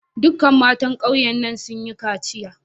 Duka matan ƙauye na sun yi kaciya.